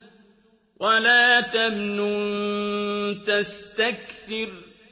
وَلَا تَمْنُن تَسْتَكْثِرُ